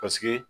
Paseke